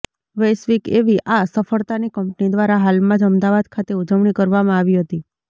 વૈશ્વિક એવી આ સફળતાની કંપની દ્વારા હાલમાં જ અમદાવાદ ખાતે ઉજવણી કરવામાં આવી હતી